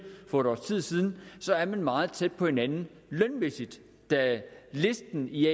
for et års tid siden så er man meget tæt på hinanden lønmæssigt da listen i